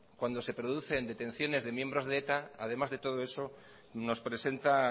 cuando se producen detenciones de miembros de eta además de todo eso nos presenta